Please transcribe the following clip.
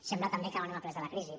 sembla també que no hem après de la crisi